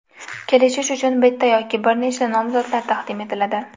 Kelishish uchun bitta yoki bir nechta nomzodlar taqdim etiladi.